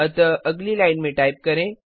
अतः अगली लाइन में टाइप करें